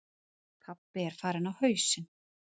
Pabbi er farinn á hausinn.